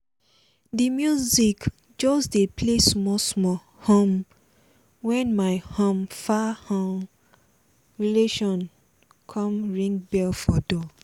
the music just dey play small small um when my um far um relation come ring bell for door